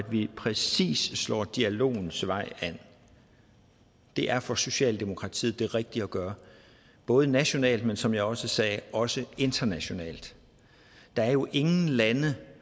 vi præcis slår dialogens vej an det er for socialdemokratiet det rigtige at gøre både nationalt men som jeg også sagde også internationalt der er jo ingen lande